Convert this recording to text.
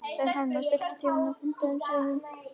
Hrafnfífa, stilltu tímamælinn á fimmtíu og sjö mínútur.